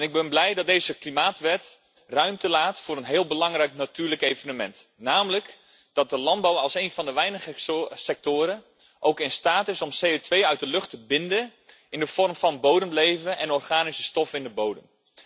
Ik ben blij dat deze klimaatwet ruimte laat voor een heel belangrijk natuurlijk evenement, namelijk dat de landbouw als één van de weinige sectoren ook in staat is om CO2 uit de lucht te binden in de vorm van bodemleven en organische stoffen in de bodem.